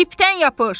İpdən yapış!